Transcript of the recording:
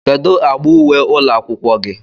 kedu agba uwe ụlọ akwụkwọ gị?